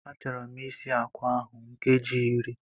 Achọrọ m isi akwa ahụ nkeji iri